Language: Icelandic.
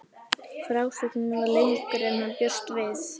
Frásögnin varð lengri en hann bjóst við.